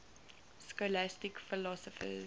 scholastic philosophers